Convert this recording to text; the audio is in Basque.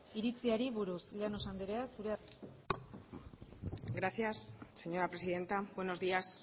iritziari buruz llanos andrea zurea da hitza gracias señora presidenta buenos días